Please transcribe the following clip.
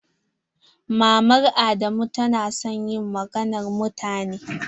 Mama adamu ta na son yin maganan mutane.